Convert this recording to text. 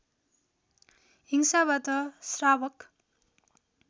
हिंसाबाट श्रावक